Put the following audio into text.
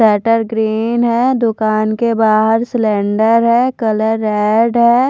Shutter green है दुकान के बहार सिलिंडर है कलर रेड है।